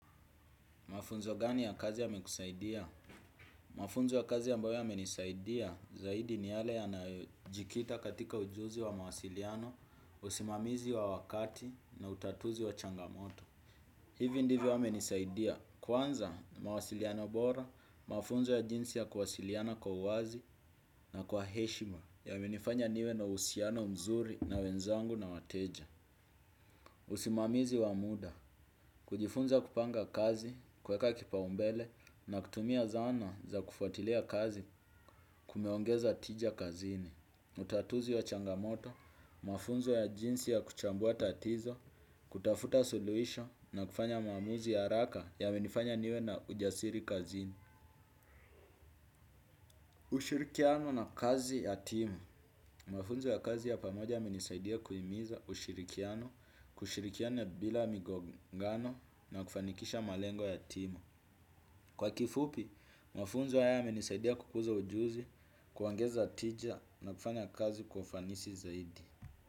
Mafunzo gani ya kazi yamekusaidia? Mafunzo ya kazi ambayo yamenisaidia zaidi ni yale yanayojikita katika ujuzi wa mawasiliano, usimamizi wa wakati na utatuzi wa changamoto. Hivi ndivyo amenisaidia. Kwanza mawasiliano bora, mafunzo ya jinsi ya kuwasiliana kwa uwazi na kwa heshima yamenifanya niwe na uhusiano mzuri na wenzangu na wateja. Usimamizi wa muda, kujifunza kupanga kazi, kuweka kipaumbele na kutumia zana za kufuatilia kazi kumeongeza tija kazini. Utatuzi wa changamoto, mafunzo ya jinsi ya kuchambua tatizo, kutafuta suluhisho na kufanya maamuzi ya haraka yamenifanya niwe na ujasiri kazini. Ushirikiano na kazi ya timu. Mafunzo ya kazi ya pamoja yamenisaidia kuhimiza ushirikiano, kushirikiano bila migongano na kufanikisha malengo ya timu. Kwa kifupi, mafunzo haya yamenisaidia kukuza ujuzi, kuongeza tija na kufanya kazi kwa ufanisi zaidi.